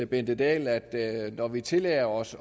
bente dahl at når vi tillader os